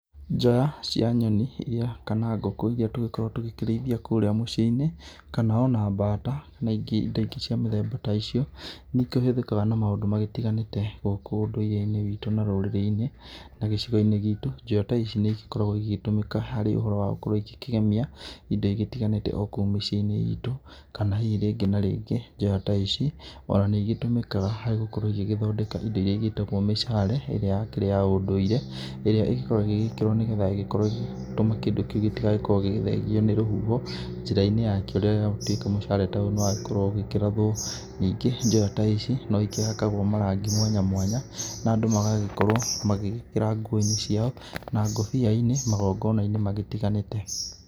Njoya cia nyoni iria, kana ngũkũ iria tũgĩkoragũo tũgĩkĩrĩithia kũrĩa mũciĩ-inĩ kana o na bata na ingĩ ta ingĩ cia mũthemba ta icio nĩ ikĩhũthĩkaga na maũndũ magĩtiganĩte gũkũ ũndũrĩre-inĩ witũ na rũrĩrĩ-inĩ na gĩcigo-inĩ gitũ. Njoya ta ici nĩ igĩkoragũo igĩtũmĩka harĩ ũhoro wa gũkorũo igĩkĩgemia indo igĩtiganĩte o kũu mĩciĩ-inĩ itũ kana hihi rĩngĩ na rĩngĩ njoya ta ici o na nĩ igĩtũmĩkaga harĩ gũkorũo igĩgĩthondeka indo iria igĩtagwo mishale ĩrĩa yakĩrĩ ya ũndũire ĩrĩa ĩgĩkoragũo ĩgĩgĩkĩrwo nĩ getha ĩgĩkorũo kĩndũ kĩu gĩtigagĩkorũo gĩgĩthengio nĩ rũhuho njĩra-inĩ yakĩrehwo gũtuĩka mshale ta ũyũ nĩ wagĩkorũo ũgĩkĩrathwo, ningĩ njoya ta ici no igĩkĩhakagwo marangi mwanya mwanya na andũ magagĩkorũo magĩgĩkĩra nguo-inĩ ciao na ngobia-inĩ magongona-inĩ magĩtiganĩte.